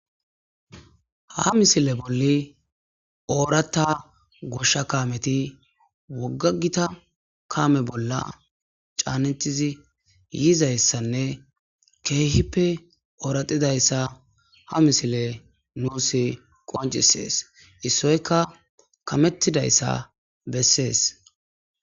ha misile bolli oorata goshsha kameti woggagita kaame bolla caanetizi yiizayssanne keehippe ooratidayssa ha misile nuusi qoncisees issoyka kamettidayssa bessees